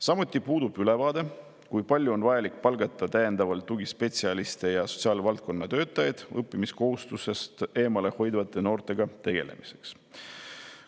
Samuti puudub ülevaade, kui palju on vaja palgata täiendavalt tugispetsialiste ja sotsiaalvaldkonna töötajaid õppimiskohustusest eemale hoidvate noortega tegelemiseks.